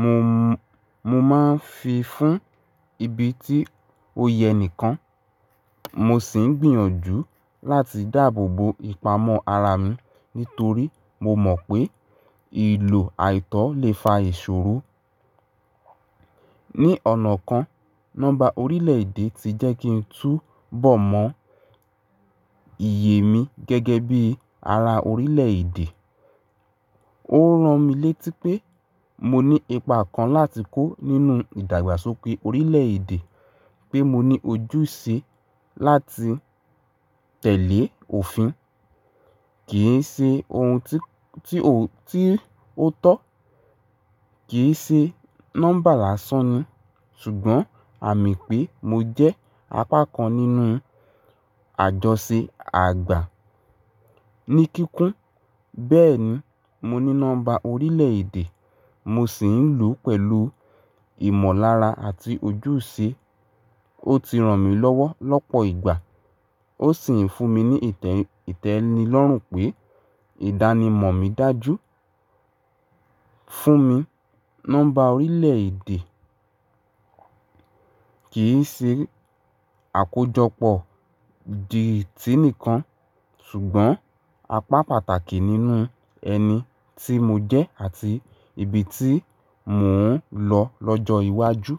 Mo, mo máa ń fi fún ibi tí ó yẹ nìkan. Mo sì ń gbìyànjú láti dáàbò bo ìpamọ́ ara mi nítorí mo mọ̀ pé ìlò àìtọ́ lè fa ìṣòro. Ní ọ̀nà kan, nọ́mbà orílẹ̀-èdè ti jẹ́ kí n tú bọ̀ mọ́ iyè mi gẹ́gẹ́ bí ara orílẹ̀-èdè. Ó ran mi létí pé mo ní ipa kan láti kó nínú ìdàgbàsókè orílẹ̀-èdè, pé mo ní ojúṣe láti telé òfin. Kì í ṣe ohun tí, tí ó, tí ó tọ́, kì í ṣe nọ́mbà lásán ni, ṣùgbọ́n àmì pé mo jẹ́ apá kan nínú àjọṣe àgbà. Ni kíkún, bẹ́ẹ̀ni, mo ní nọ́mbà orílẹ̀-èdè, mo sì ń lò ó pẹ̀lú ìmọ̀lára àti ojúṣe. Ó ti ràn mí lọ́wọ́ lọ́pọ̀ ìgbà. Ó sì ń fún mi ní ìtẹ̀, ìtẹ́nilọ́rùn pé ìdánimọ̀ mi dájú. Fún mi, nọ́mbà orílẹ̀-èdè kì í ṣe àkójọpọ̀ díìtì nìkan, ṣùgbọ́n apá pàtàkì nínú ẹni tí mo jẹ́ àti ibi tí mò ń lọ lọ́jọ́ iwájú.